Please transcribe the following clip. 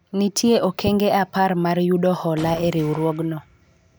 nitie okenge apar mar yudo hola e riwruogno